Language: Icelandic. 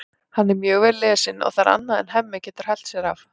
Hann er mjög vel lesinn og það er annað en Hemmi getur hælt sér af.